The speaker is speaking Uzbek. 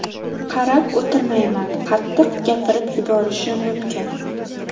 Qarab o‘tirmayman, qattiq gapirib yuborishim mumkin.